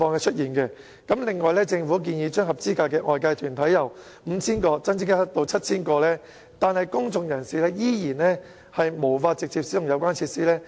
此外，政府建議將合資格的外界團體由 5,000 個增加至 7,000 個，但公眾人士仍然無法直接使用有關設施。